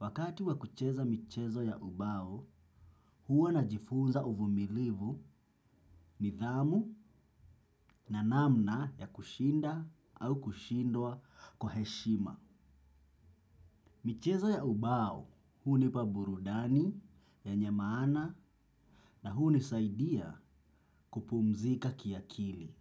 Wakati wakucheza michezo ya ubao, huo najifunza uvumilivu nidhamu na namna ya kushinda au kushindwa kwa heshima. Michezo ya ubao, hunipa burudani yenye maana na hunisaidia kupumzika kiakili.